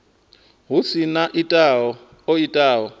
hu si na o itaho